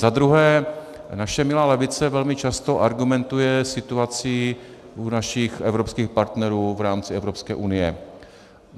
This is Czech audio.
Za druhé, naše milá levice velmi často argumentuje situací u našich evropských partnerů v rámci Evropské unie.